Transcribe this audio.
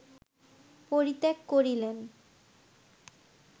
পরিত্যাগ করিলেন